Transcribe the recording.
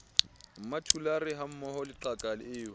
mmathulare hammoho le qaka eo